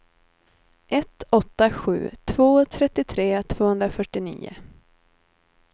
ett åtta sju två trettiotre tvåhundrafyrtionio